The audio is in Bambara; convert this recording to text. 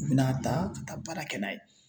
U bɛna taa ka taa baara kɛ n'a ye